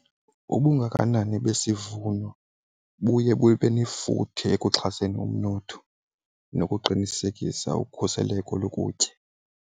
Ubungakanani besivuno buye bube nefuthe ekuxhaseni umnotho nokuqinisekisa ukhuseleko lokutya.